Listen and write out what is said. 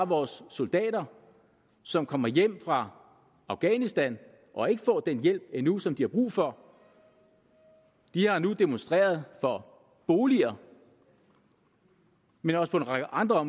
vores soldater som kommer hjem fra afghanistan og ikke får den hjælp endnu som de har brug for de har nu demonstreret for boliger men også på en række andre